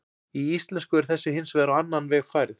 Í íslensku er þessu hins vegar á annan veg farið.